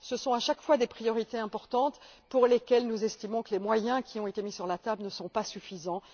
Ce sont à chaque fois des priorités importantes pour lesquelles nous estimons que les moyens mis sur la table ne sont pas suffisants.